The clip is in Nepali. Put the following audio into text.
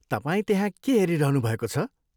तपाईँ त्यहाँ के हेरिरहनु भएको छ?